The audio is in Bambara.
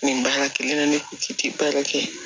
Nin baara kelen na ne kun ti ti baara kɛ